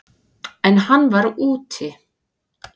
En hann var úti.